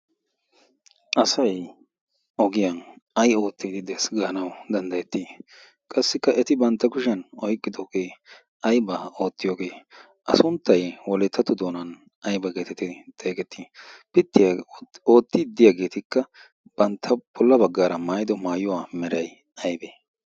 asai ogiyan ai oottii di dees gaanawu danddayettii qassikka eti bantta kushiyan oiqqidoogee aybaa oottiyoogee a sunttaywoleettatu doonan aybaageetiti xeegettii pittiyaa oottii diyaageetikka bantta polla baggaara maayido maayuwaa meray aybee